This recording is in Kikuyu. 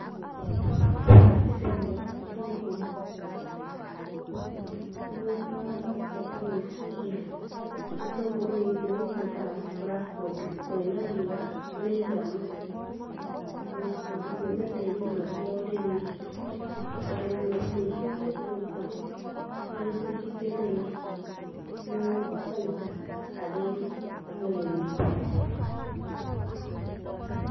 Ĩno mbica nĩ ya itũngũrũ. Nĩndĩracoka gwĩciria gĩtũngũrũ gĩkĩendaga gũkũra kũndũ kũĩna riũa rĩiganu. Ona kũndũ kũĩna tĩĩri mwega wa ũrĩmi. ũrĩmi mũingĩ wa gĩtũngũrũ na gĩcunjĩ kĩnene nĩ bainda harĩ mũrĩmi.